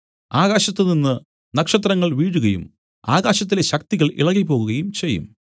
ആകാശത്തുനിന്ന് നക്ഷത്രങ്ങൾ വീഴുകയും ആകാശത്തിലെ ശക്തികൾ ഇളകിപ്പോകുകയും ചെയ്യും